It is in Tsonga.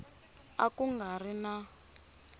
a ku nga ri na